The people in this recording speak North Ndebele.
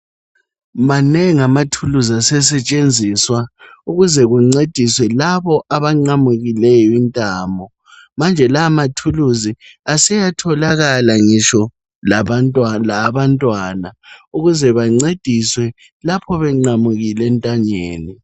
Manengi amathulusi asesetshenziswa ukuzekungcediswe labo abaqamukileyo intambo njalo lawa mathulisi aseyatholakala ngitsho lawabantwana ukuze bengcediswe lapho beqamukile entanyeni